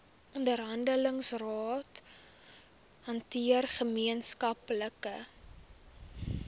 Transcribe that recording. onderhandelingsrade hanteer gemeenskaplike